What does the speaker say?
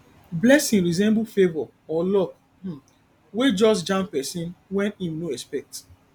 blessing resemble favour or luck um wey just jam person when im no expect